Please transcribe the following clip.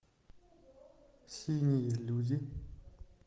синие люди